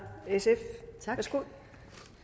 på